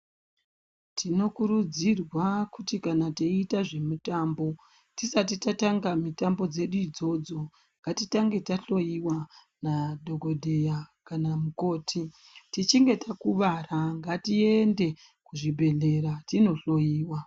Tinokurudzirwa kuti kana teiita zvemitambo, tisati tatanga mitambo dzedu idzodzo, ngatitange tahloiwa nadhokodheya kana mukoti. Tichinge takuvara, ngatieeende kuzvibhedhlera tinohloiwa.